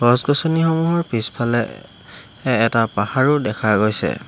গছ-গছনিসমূহৰ পিছফালে এটা এ পাহৰো দেখা গৈছে।